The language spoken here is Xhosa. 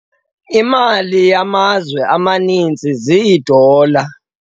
Imali yamazwe amaninzi ziidola.